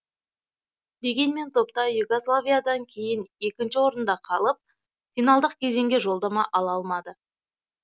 дегенмен топта югославиядан кейін екінші орында қалып финалдық кезеңге жолдама ала алмады